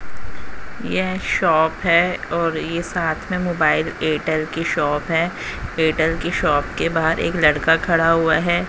यह शॉप है और ये साथ में मोबाइल एयरटेल कि शॉप है एयरटेल की शॉप के बाहर एक लड़का खड़ा हुआ है।